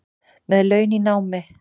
Með laun í námi